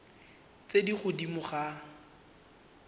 tse di kwa godimo ga